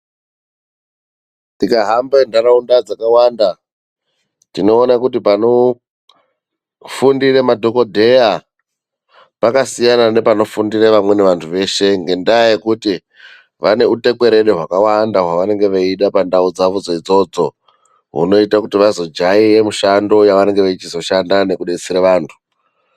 Tikahamba ndau dzaawanda tinoona kuti panofundira madhokoteya pakasiyana nepanofundira vamweni vandu veshe ngenda yekuti vanehutekwerere hwakawada hwavanenge vachida pandau iyi hunoita vazojaira mishando yavanenge vakuzoshanda vachidetsera vandu.